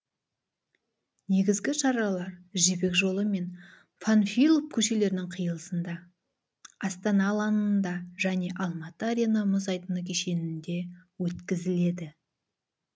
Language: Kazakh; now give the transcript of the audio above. негізгі шаралар жібек жолы мен панфилов көшелерінің қиылысында астана алаңында және алматы арена мұз айдыны кешенінде өткізіледі